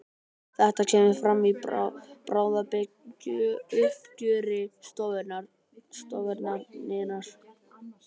Þetta kemur fram í bráðabirgðauppgjöri stofnunarinnar